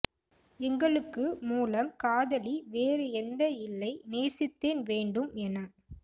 எங்களுக்கு மூலம் காதலி வேறு எந்த இல்லை நேசித்தேன் வேண்டும் என